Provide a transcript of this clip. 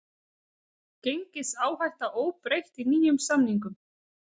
Gengisáhætta óbreytt í nýjum samningum